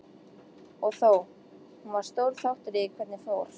Og þó, hún var stór þáttur í því hvernig fór.